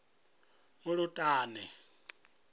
muleḓane